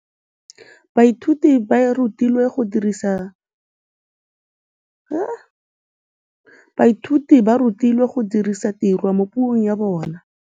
Baithuti ba rutilwe go dirisa tirwa mo puong ya bone.